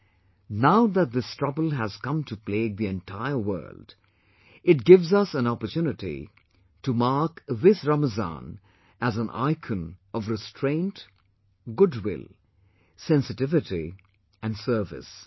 But, now that this trouble has come to plague the entire world, it gives us an opportunity to mark this Ramazan as an icon of restraint, goodwill, sensitivity and service